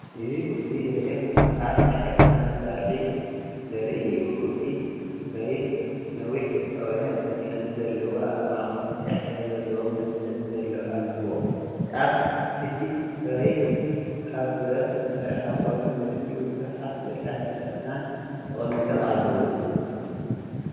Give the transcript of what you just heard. እዚ ስእሊ ሬክ ዝበሃል ናይ ሕርሻ መሳርሒ ዘርኢ እዩ። እቲ ረይክ ነዊሕን ዝጠወየን መትሓዚ ኣለዎ። ኣብ ማእከሉ ብጫ ሕብሪ ዘለዎም መትሓዚ ኣለዎ። ጫፍ እቲ ረይክ ካብ ብረት ዝተሰርሐ ኮይኑ ትሕቲኡ ብዙሓት በላሕቲ ኣስናን ተቐሚጦም ኣለዉ።